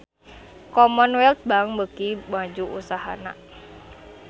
Commonwealth Bank beuki maju usahana